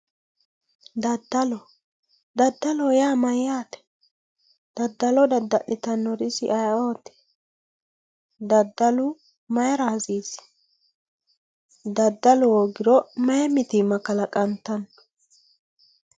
Daddalo, daddaloho yaa mayyate, daddalo dadda'littanori isi ayeeoti, daddalu mayra hasiisi, daddalu hoogiro mayi mitima kalaqantano?